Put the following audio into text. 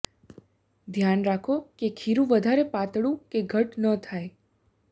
ધ્યાન રાખો કે ખીરૂ વધારે પાતળું કે ઘટ્ટ ન થાય